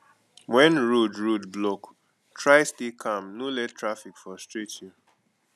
wen road road block try stay calm no let traffic frustrate you